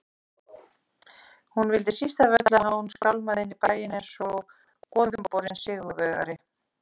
Hún vildi síst af öllu að hann skálmaði inn í bæinn einsog goðumborinn sigurvegari.